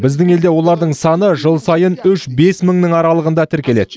біздің елде олардың саны жыл сайын үш бес мыңның аралығында тіркеледі